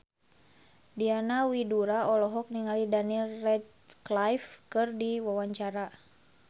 Diana Widoera olohok ningali Daniel Radcliffe keur diwawancara